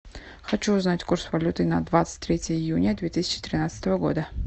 хочу узнать курс валюты на двадцать третье июня две тысячи тринадцатого года